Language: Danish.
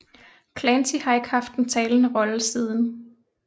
Clancy har ikke haft en talende rolle siden